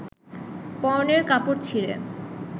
পরনের কাপড় ছিঁড়ে